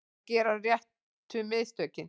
Að gera réttu mistökin